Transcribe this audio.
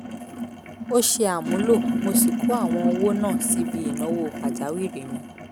ò ṣe àmúlò mo sì kó àwọn owó náà síbi ìnáwó pàjáwìrì mi